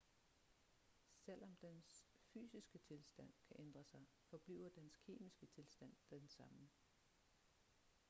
selvom dens fysiske tilstand kan ændre sig forbliver dens kemiske tilstand den samme